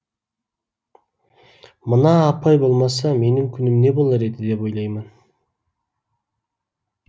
мына апай болмаса менің күнім не болар еді деп ойлаймын